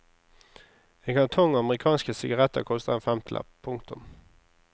En kartong amerikanske sigaretter koster en femtilapp. punktum